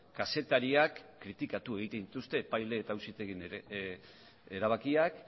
kazetariak kritikatu egiten dituzte epaile eta auzitegien erabakiak